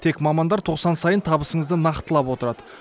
тек мамандар тоқсан сайын табысыңызды нақтылап отырады